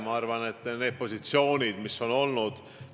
Ma arvan, et meie positsioonid on olnud õiged.